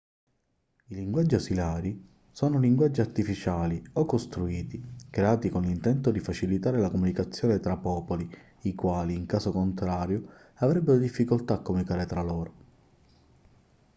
i linguaggi ausiliari sono linguaggi artificiali o costruiti creati con l'intento di facilitare la comunicazione tra popoli i quali in caso contrario avrebbero difficoltà a comunicare tra loro